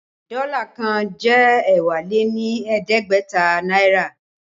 Dọ́là kan jẹ́ ẹ́wá lé ní ẹ̀ẹ́dẹ́gbẹ̀ta náírà